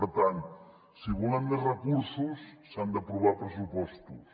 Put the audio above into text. per tant si volem més recursos s’han d’aprovar pressupostos